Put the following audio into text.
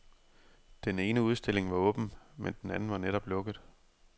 Den ene udstilling var åben, men den anden var netop lukket.